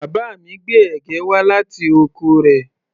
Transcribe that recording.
Bàbá mi gbé ẹ̀gẹ́ wá láti oko rẹ̀